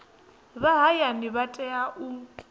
vha hayani vha tea u